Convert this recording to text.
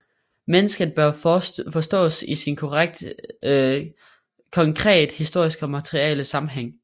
Mennesket bør forstås i sin konkret historiske og materielle sammenhæng